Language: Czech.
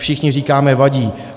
Všichni říkáme vadí.